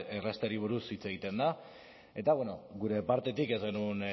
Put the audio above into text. errazteari buruz hitz egiten da eta gure partetik ez genuen